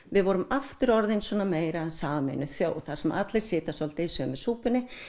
við vorum aftur orðin svona meira sameinuð þjóð þar sem allir sátu svolítið í sömu súpunni